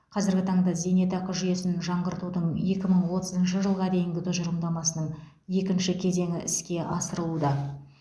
қазіргі таңда зейнетақы жүйесін жаңғыртудың екі мың отызыншы жылға дейінгі тұжырымдамасының екінші кезеңі іске асырылуда